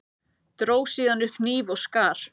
Dró síðan upp hníf og skar.